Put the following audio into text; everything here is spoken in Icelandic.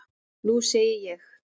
Nú sé ég.